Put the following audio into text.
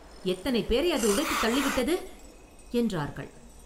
எத்தனை பேரை அது உதைத்துத் தள்ளிவிட்டது?” என்றார்கள்.